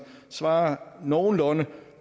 svarer nogenlunde